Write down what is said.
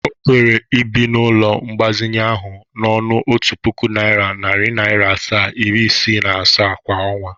O kwere ibi n'ụlọ mgbazinye ahụ n'ọnụ otu puku naira, nari naria asaa, iri isii na asaa kwa onwa?